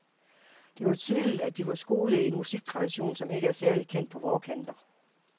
Det var tydeligt, at de var skolede i en musiktradition, som ikke er særlig kendt på vore kanter.